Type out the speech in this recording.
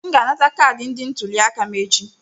M ga-anakọta kaadị ndị ntuli aka m echi.